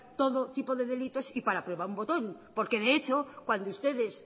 todo tipo de delitos y para prueba un botón porque de hecho cuando ustedes